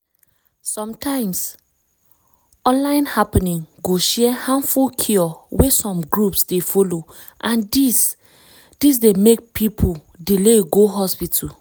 sometimes online happening go share harmful cure wey some groups dey follow and dis d make people delay to go hospital.